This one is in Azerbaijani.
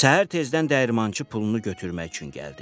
Səhər tezdən dəyirmançı pulunu götürmək üçün gəldi.